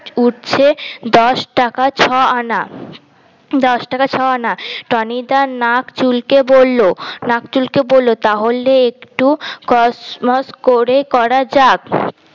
উচ্ছে দশ টাকা ছ আনা দশ টাকা ছ আনা টনিদা নাক চুলকে বললো নাক চুলকে বললো তাহলে একটু কসমস করে করা যাক